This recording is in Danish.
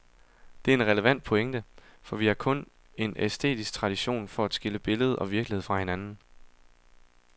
Det er en relevant pointe, for vi har kun en æstetisk tradition for at skille billede og virkelighed fra hinanden.